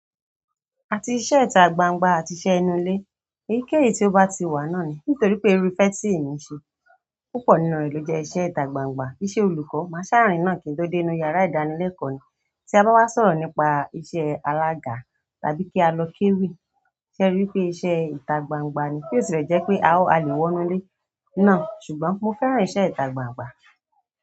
Àti iṣẹ́ ita gbangba àti iṣẹ́ inú ile, èyíkéyìí to ba ti wa náà ni nítorí pé irú ìsẹ tí èmi n ṣe púpọ̀ nínú rẹ̀ ló jẹ́ iṣẹ́ ìtagbangba. Iṣẹ́ olùkọ́, maa ṣaa rìn náà kì n to dé inú yàrá ìdánilẹ́kọ̀ọ́ ni. Ti a bá wá sọ̀rọ̀ nípa iṣẹ́ alága tàbí kí á lọ kéwì, ṣe ẹ rí i pé iṣẹ́ ìtagbangba ni? Bino tilẹ jẹ́ pé à le wọnú ilé náà, ṣùgbọ́n mo fẹ́ran ìṣe ìtagbangba.